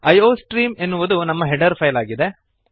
iostream ಎನ್ನುವುದು ನಮ್ಮ header file ಆಗಿದೆ